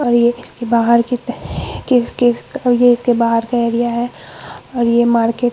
और ये इसके बाहर की ये इसके बाहर का एरिया है और ये मार्केट --